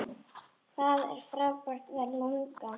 Hvað er frábært við LungA?